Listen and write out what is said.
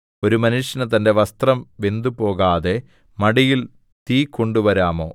ഒരു മനുഷ്യന് തന്റെ വസ്ത്രം വെന്തുപോകാതെ മടിയിൽ തീ കൊണ്ടുവരാമോ